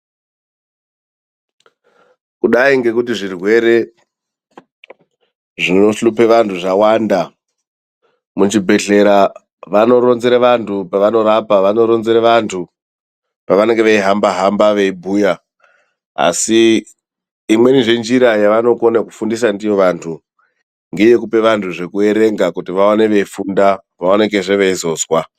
Kudai ngekuti zvirwere zvinohlupe vantu zvawanda, muzvibhedhlera vanoronzera vantu pavanorapa vanoronzera vantu pavanenge veihamba hamba veibhuya, asi imweni zvenjira yavanokone kufundisa ndiyo vantu ngeyekupa vantu zvekuerenga kuti vaone veifunda vaonekezve veizozwa.